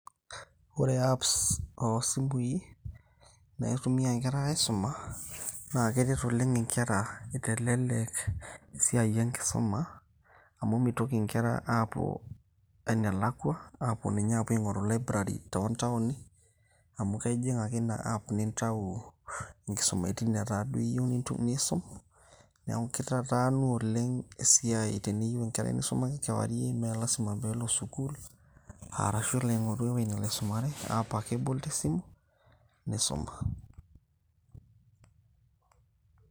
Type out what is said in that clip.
ore apps ooh simui, naitumia nkera aisuma, naa keret oleng nkera neitelelek esiai enkisuma amu meitoki nkera apuo enelakua apuo ninye aing'oru Library too ntaoni amu kejing ake ina app nintau nkisumaitin netaa duo iyieu nitum, nisum neeku keitataanu oleng esiai Teneyieu enkerai nisuma kewarie meelasima peelo sukuul, arashuu elo aing'oru ewueji nelo aisumare app ake ebol tesimu neisuma.